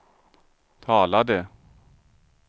talade